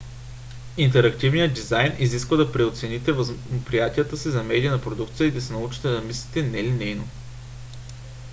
интерактивният дизайн изисква да преоцените възприятията си за медийна продукция и да се научите да мислите нелинейно